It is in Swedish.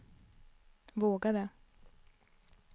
vågade